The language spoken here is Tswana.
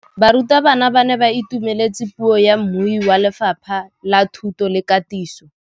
Barutabana ba ne ba itumeletse puô ya mmui wa Lefapha la Thuto le Katiso.